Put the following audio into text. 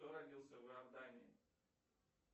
кто родился в иордании